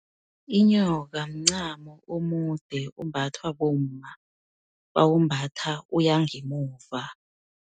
Inyoka, mncamo omude, ombathwa bomma bawumbatha uyangemuva.